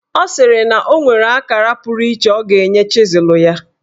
Ọ sịrị na o nwere akara puru iche ọ ga-enye chịzụl ya.